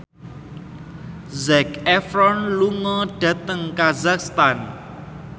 Zac Efron lunga dhateng kazakhstan